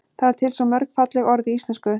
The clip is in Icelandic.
það eru til svo mörg falleg orð í íslenksu